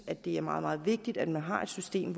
at det er meget meget vigtigt at man har et system